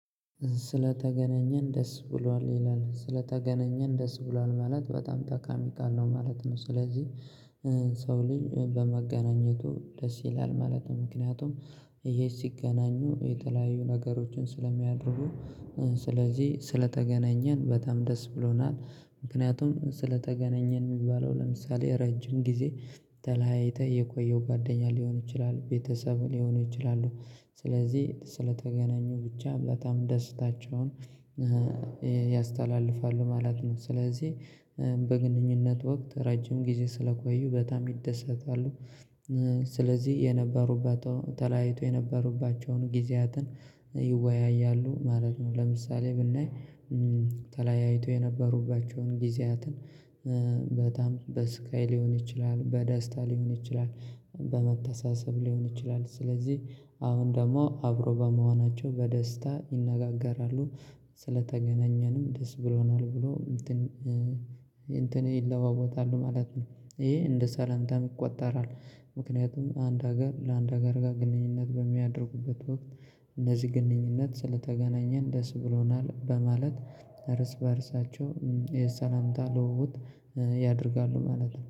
ስለተገናኘን ደስ ብሏል ይላል ስለተገናኘን ደስ ብሏል ማለት በጣም ጠቃሚ ቃል ነው ማለት ነው። ስለዚህ ሰው ልጅ በመገናኘቱ ደስ ይላል ማለት ነው። ምክንያቱም ይሄ ሲገናኙ የተለያዩ ነገሮችን ስለሚያደርጉ። ስለዚህ ስለተገናኘን በጣም ደስ ብሎናል። ምክንያቱም ስለተገናኘን የሚባለው ለምሳሌ ረጅም ጊዜ ተለያይተህ የቆየው ጓደኛ ሊሆን ይችላል ቤተሰብ ሊሆን ይችላል። ስለዚህ ስለተገናኙ ብቻ በጣም ደስታቸውን ያስተላልፋሉ ማለት ነው። ስለዚህ በግንኙነት ወቅት ረጅም ጊዜ ስለቆዩ በጣም ይደሰታሉ። ስለዚህ የነበሮበትን ተለያይተው ነበሮባቸዎን ነበሮባቸዎን ግዜያትን ይወያያሉ ማለት ነወ። ለምሳሌ ብናይ ተለያይተው የነበሮባቸዎን ግዝያትን በጣም በስቃይ ሊሆን ይችላል በደስታ ሊሆን ይችላል። በመተሳሰብ ሊሆን ይችላል ስለዚህ አሁን ደግሞ አብሮ በመሆናቸው በደስታ ይነጋገራሉ። ስለተገናኘንም ደስ ብሎናል ብሎ እንትን እንትን ይለዋወጣሉ ማለት ነው። ይሄ እንደ ሳላንታም ይቆጠራል። ምክንያቱም አንድ ሀገር ለአንድ ሀገር ጋር ግንኙነት በሚያደርጉበት ወቅት እነዚህ ግንኙነት ስለተገናኘን ደስ ብሎናል። በማለት እርስ በእርሳቸው የሰላምታ ልውውጥ ያደርጋሉ ማለት ነው